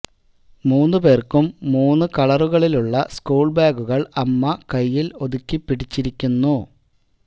മൂന്നുപേർക്കും മൂന്നു കളറുകളിലുളള സ്കൂൾ ബാഗുകൾ അമ്മ കൈയിൽ ഒതുക്കി പിടിച്ചിരിക്കുന്നു